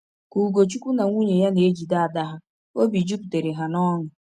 Ka Ugochukwu na nwunye ya na-ejide ada ha, obi jupụtara ha n’ọṅụ.